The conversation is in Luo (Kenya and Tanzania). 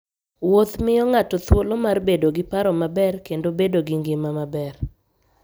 Wuoth miyo ng'ato thuolo mar bedo gi paro maber kendo bedo gi ngima maber.